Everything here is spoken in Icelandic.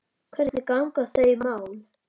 Hvernig ganga þau mál?